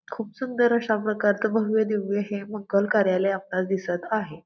खूप सुंदर अश्या प्रकारचे भव्य दिव्य हे मंगल कार्यालय आपल्याला दिसत आहे.